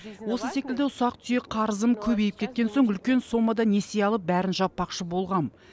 осы секілді ұсақ түйек қарызым көбейіп кеткен соң үлкен сомада несие алып бәрін жаппақшы болғам